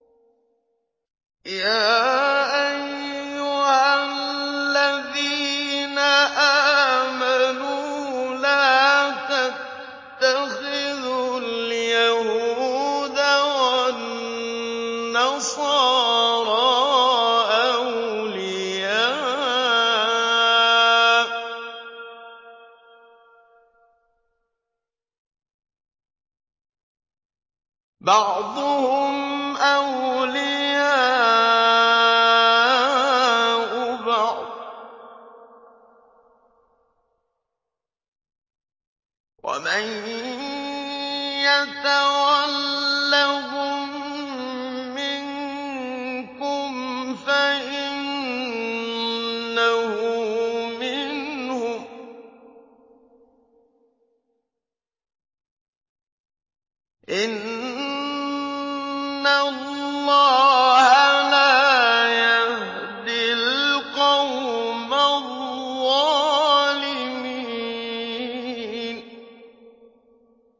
۞ يَا أَيُّهَا الَّذِينَ آمَنُوا لَا تَتَّخِذُوا الْيَهُودَ وَالنَّصَارَىٰ أَوْلِيَاءَ ۘ بَعْضُهُمْ أَوْلِيَاءُ بَعْضٍ ۚ وَمَن يَتَوَلَّهُم مِّنكُمْ فَإِنَّهُ مِنْهُمْ ۗ إِنَّ اللَّهَ لَا يَهْدِي الْقَوْمَ الظَّالِمِينَ